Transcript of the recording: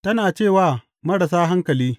Tana ce wa marasa hankali.